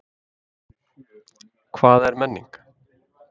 Hvað er menning?